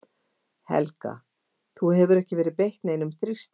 Helga: Þú hefur ekki verið beitt neinum þrýstingi?